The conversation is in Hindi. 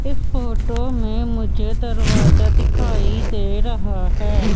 इस फोटो में मुझे दरवाजा दिखाई दे रहा है।